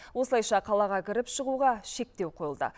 осылайша қалаға кіріп шығуға шектеу қойылды